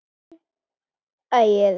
Þinn Ægir.